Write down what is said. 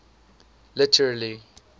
literary